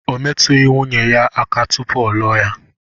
O métughị nwunye ya aka tụpụ ọ lụọ ya